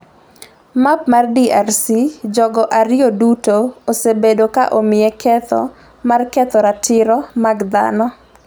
Map mar DRC Jogo ariyo duto osebedo ka omiye ketho mar ketho ratiro mag dhano.